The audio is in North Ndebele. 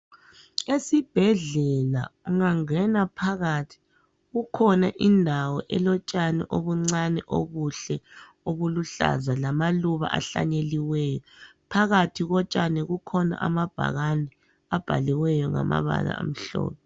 Esibhedlela ungangena phakathi kukhona indawo elotshani obuncane obuhle obuluhlaza lamaluba ahlanyeliweyo. Phakathi kotshani kukhona amabhakane abhaliweyo ngamabala amhlophe.